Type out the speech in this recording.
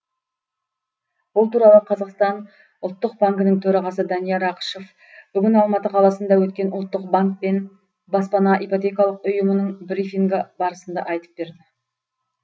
бұл туралы қазақстан ұлттық банкінің төрағасы данияр ақышев бүгін алматы қаласында өткен ұлттық банк пен баспана ипотекалық ұйымының брифингі барысында айтып берді